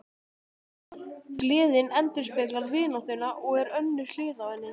Gleðin endurspeglar vináttuna og er önnur hlið á henni.